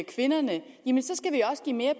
kvinderne skal vi også give mere